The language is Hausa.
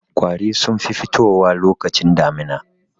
Ƙwari sun fi fitowa lokacin damina.